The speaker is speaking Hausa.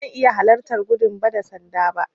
Ba zan iya halarta gudun ba da sanda ba.